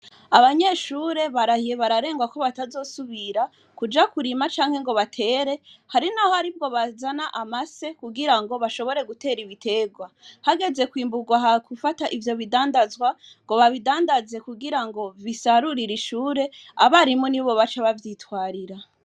Abanyeshure barahiye bararengwa ko batazosubira kuja kurima canke ngo batere. Hari n'aho aribo bazana amase kugira ngo bashobore gutera ibiterwa. Hageze kwimburwa, hagufata ivyo bidandazwa ngo babidandaze kugira ngo bisarurire ishure, abarimu nibo baca bavyitwarira.